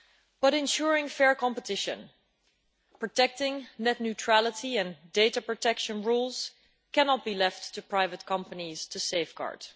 But ensuring fair competition, protecting net neutrality and data protection rules cannot be left to private companies to safeguard.